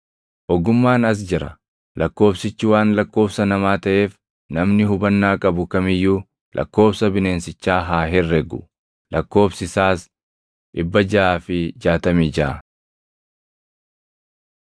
Ogummaan as jira. Lakkoobsichi waan lakkoobsa namaa taʼeef namni hubannaa qabu kam iyyuu lakkoobsa bineensichaa haa herregu. Lakkoobsi isaas 666.